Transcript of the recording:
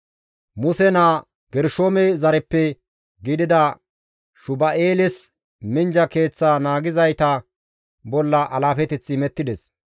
Muse naa Gershoome zareppe gidida Shuba7eeles minjja keeththa naagizayta bolla alaafeteththi imettides.